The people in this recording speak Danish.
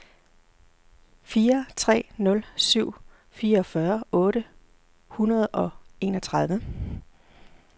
fire tre nul syv fireogfyrre otte hundrede og enogtredive